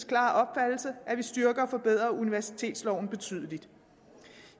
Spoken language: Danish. klare opfattelse at vi styrker og forbedrer universitetsloven betydeligt